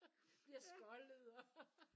Bliver skoldet og